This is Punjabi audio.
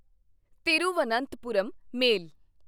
ਤਿਰੂਵਨੰਤਪੁਰਮ ਮੇਲ